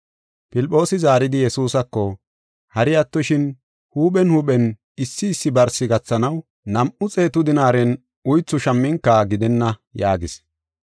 Filphoosi zaaridi Yesuusako, “Hari attoshin, Huuphen huuphen, issi issi barsi gathanaw, nam7u xeetu dinaaren uythu shamminka gidenna” yaagis.